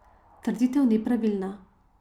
Trditev ni pravilna.